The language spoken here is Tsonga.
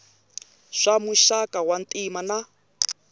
swa muxaka wa ntima na